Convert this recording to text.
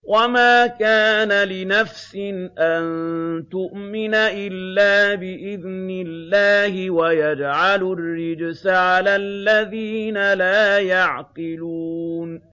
وَمَا كَانَ لِنَفْسٍ أَن تُؤْمِنَ إِلَّا بِإِذْنِ اللَّهِ ۚ وَيَجْعَلُ الرِّجْسَ عَلَى الَّذِينَ لَا يَعْقِلُونَ